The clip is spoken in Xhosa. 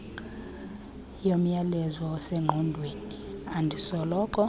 yomyalezo osengqondweni endisoloko